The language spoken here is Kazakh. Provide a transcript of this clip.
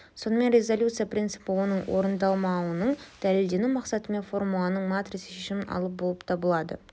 сонымен резалюция принципі оның орындалмауының дәлелденуі мақсатымен формуланың матрица шешімін алу болып табылады